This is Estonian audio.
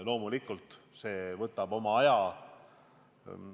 Loomulikult võtab see oma aja.